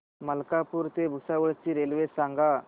मलकापूर ते भुसावळ ची रेल्वे सांगा